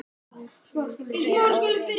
Þinn, Óðinn.